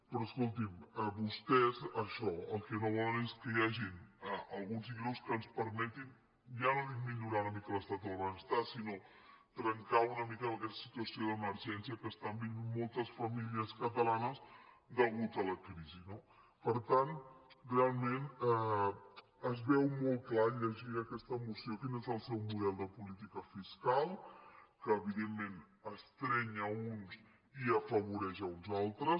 però escoltin vostès això el que no volen és que hi hagin alguns ingressos que ens permetin ja no dic millo·rar una mica l’estat del benestar sinó trencar una mi·ca amb aquesta situació d’emergència que estan vivint moltes famílies catalanes a causa de la crisi no per tant realment es veu molt clar llegint aquesta mo·ció quin és el seu model de política fiscal que evi·dentment estreny a uns i afavoreix uns altres